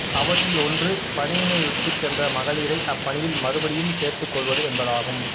அவற்றில் ஒன்று பணியினை விட்டுச் சென்ற மகளிரை அப்பணியில் மறுபடியும் சேர்த்துக்கொள்வது என்பதாகும்